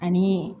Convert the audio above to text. Ani